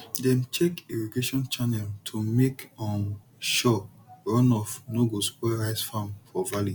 dem check irrigation channel to make um sure runoff no go spoil rice farm for valley